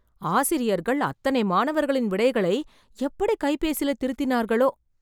ஆசிரியர்கள் அத்தனை மாணவர்களின் விடைகளை, எப்படி கைபேசில திருத்தினார்களோ...